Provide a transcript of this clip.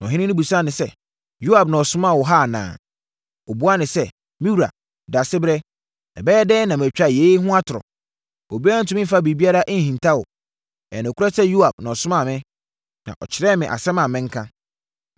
Na ɔhene no bisaa sɛ, “Yoab na ɔsomaa wo ha anaa?” Ɔbaa no buaa sɛ, “Me wura, Daasebrɛ, ɛbɛyɛ dɛn na matwa yei ho atorɔ? Obiara ntumi mfa biribiara nhinta wo. Ɛyɛ nokorɛ sɛ Yoab na ɔsomaa me, na ɔkyerɛɛ me asɛm a menka.